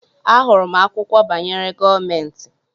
Ahụrụ m akwụkwọ banyere gọọmentị.